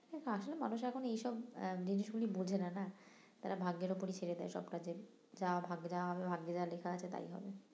আসলে মানুষ এখন এইসব আহ জিনিসগুলি বোঝে না না তারা ভাগ্যের উপরই ছেড়ে দেয় সব যা ভাগ্যে যা হবে ভাগ্যে যা লেখা আছে তাই হবে